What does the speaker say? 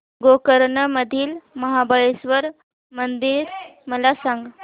गोकर्ण मधील महाबलेश्वर मंदिर मला सांग